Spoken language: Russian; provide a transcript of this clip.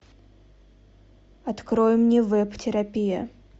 открой мне веб терапия